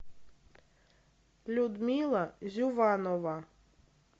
людмила зюванова